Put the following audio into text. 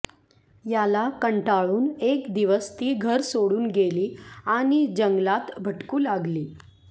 याला कंटाळून एक दिवस ती घर सोडून गेली आणि जंगलात भटकू लागली